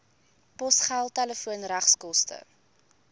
posgeld telefoon regskoste